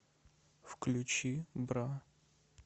включи бра